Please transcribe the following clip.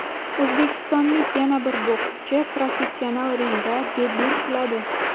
O‘zbekistonlik yana bir bokschi professional ringda debyut qiladi.